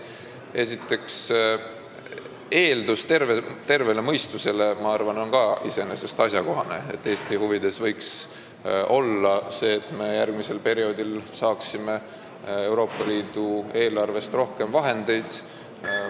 Esiteks arvan, et terve mõistuse eeldus on iseenesest ka asjakohane: Eesti huvides võiks olla see, et me järgmisel perioodil saaksime Euroopa Liidu eelarvest rohkem vahendeid.